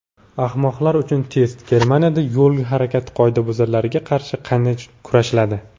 "Ahmoqlar uchun test": Germaniyada yo‘l harakati qoidabuzarlariga qarshi qanday kurashiladi?.